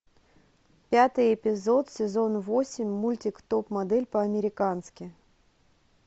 пятый эпизод сезон восемь мультик топ модель по американски